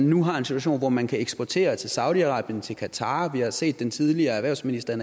nu en situation hvor man kan eksportere til saudi arabien til qatar har set den tidligere erhvervsminister